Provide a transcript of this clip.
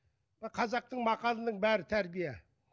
қазақтың мақалының бәрі тәрбие